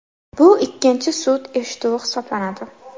Bu ikkinchi sud eshituvi hisoblanadi.